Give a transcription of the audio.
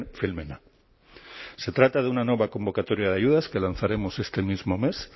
filmena se trata de una nueva convocatoria de ayudas que lanzaremos este mismo mes